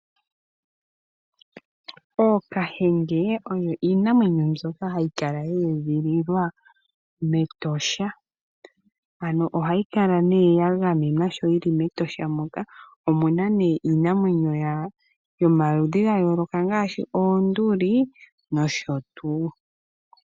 Ookahenge oyo iinamwenyo ndjoka hayikala yeedhililwa metosha ano ohayikala yagamenwa sho yili metosha moka, omuna nee iinamwenyo yomaludhi gayooloka ngaashi oonduli nosho tuu.